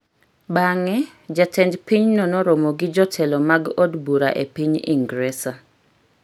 Bang’e, jatend pinyno noromo gi jotelo mag od bura e piny Ingresa,